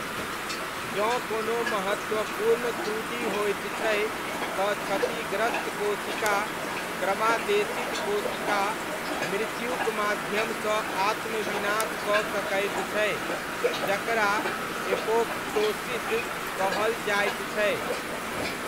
जँ कोनो महत्वपूर्ण त्रुटि होइत छै तँ क्षतिग्रस्त कोशिका क्रमादेशित कोशिका मृत्युक माध्यमसँ आत्म विनाश कऽ सकैत छै जकरा एपोप्टोसिस कहल जाइत छै।